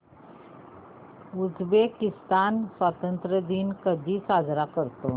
Uzbekistan स्वतंत्रता दिन कधी साजरा करतो